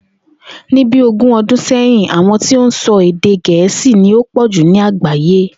Ní bí ogún o̩dún sè̩yìn, àwo̩n tí ó ń so̩ èdè Gè̩é̩sì ni ó pò̩ jù ní àgbàyé